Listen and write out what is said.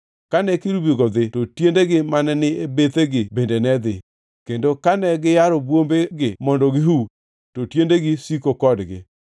Kane kerubigo dhi to tiendegi mane ni e bethegi bende ne dhi; kendo kane giyaro bwombegi mondo gihu, to tiendegi siko kodgi.